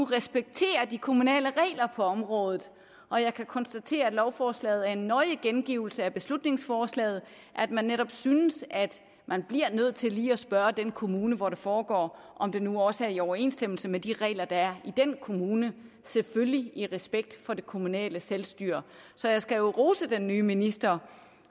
respekterer de kommunale regler på området og jeg kan konstatere at lovforslaget er en nøje gengivelse af beslutningsforslaget at man netop synes at man bliver nødt til lige at spørge den kommune hvor det foregår om det nu også er i overensstemmelse med de regler der er i den kommune selvfølgelig i respekt for det kommunale selvstyre så jeg skal jo rose den nye minister